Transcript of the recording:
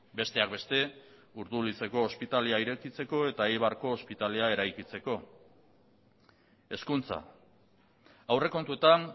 besteak beste urdulizeko ospitalea irekitzeko eta eibarko ospitalea eraikitzeko hezkuntza aurrekontuetan